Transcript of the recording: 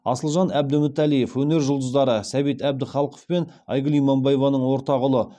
асылжан әбдімүтәлиев өнер жұлдыздары сәбит әбдіхалықов пен айгүл иманбаеваның ортақ ұлы